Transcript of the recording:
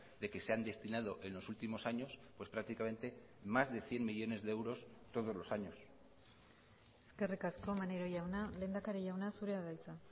de que se han destinado en los últimos años pues prácticamente más de cien millónes de euros todos los años eskerrik asko maneiro jauna lehendakari jauna zurea da hitza